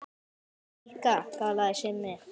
Ég líka galaði Simmi.